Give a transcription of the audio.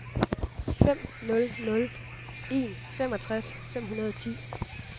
fem nul nul en femogtres fem hundrede og ti